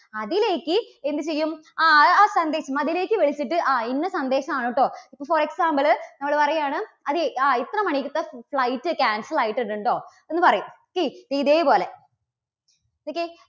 അതിലേക്ക് എന്ത് ചെയ്യും ആ ആ സന്ദേശം അതിലേക്ക് വിളിച്ചിട്ട് ആ ഇന്ന സന്ദേശമാണു കേട്ടോ. for example ള് നമ്മള് പറയുകയാണ് അതെ ആ ഇത്ര മണിക്കത്തെ flight cancel ആയിട്ടുണ്ട് കേട്ടോ എന്ന് പറയും okay ഇപ്പം ഇതേപോലെ okay